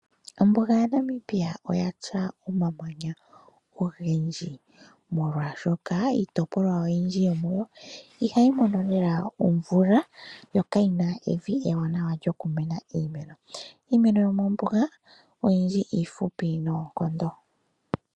Ombuga yaNamibia oya tya omamanya ogendji, molwaashoka iitopolwa oyindji yomuyo ihayi mono lela omvula yo kayi na evi ewanawa lyokumena iimeno. Iimeno yomombuga oyindji iifupi noonkondo.